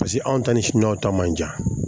Paseke anw ta ni siniwaw ta man jan